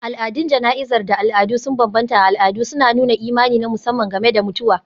Al'adun jana'izar da al'adu sun bambanta a al'adu, suna nuna imani na musamman game da mutuwa.